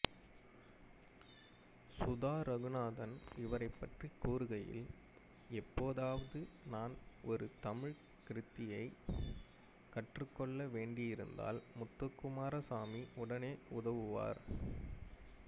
சுதா ரகுநாதன் இவரைப் பற்றிக் கூறுகையில் எப்போதாவது நான் ஒரு தமிழ்க் கிருதியைக் கற்றுக்கொள்ள வேண்டியிருந்தால் முத்துக்குமாரசுவாமி உடனே உதவுவார்